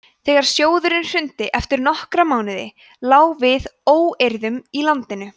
þegar sjóðurinn hrundi eftir nokkra mánuði lá við óeirðum í landinu